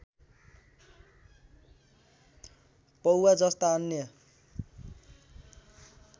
पौवा जस्ता अन्य